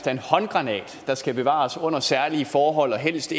en håndgranat der skal bevares under særlige forhold og helst